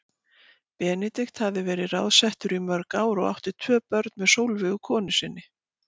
Benedikt hafði verið ráðsettur í mörg ár og átti tvö börn með Sólveigu konu sinni.